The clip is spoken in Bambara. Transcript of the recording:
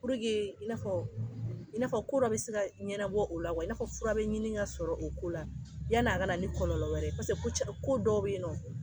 i n'a fɔ i n'afɔ ko bɛ se ka ɲɛnabɔ o la i n'a fura bɛ ɲini ka sɔrɔ o ko la yani a ka na ni kɔlɔlɔ wɛrɛ ko dɔ bɛ yen nɔ